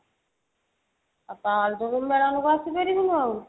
ଆଉ ତାହାଲେ ତ ତୁ ମେଳଣ କୁ ଆସିପାରିବୁନି ଆଉ